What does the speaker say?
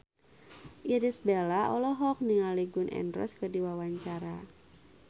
Irish Bella olohok ningali Gun N Roses keur diwawancara